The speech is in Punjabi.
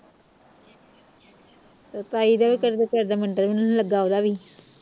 ਤੇ ਤਾਈ ਦੇ ਵੀ ਕਿਹੇ ਦੇ ਕਿਹੇ ਦੇ ਮੁੰਡੇ ਨੂੰ ਵੀ ਨਹੀ ਲੱਗਾ ਓਹਦਾ ਵੀ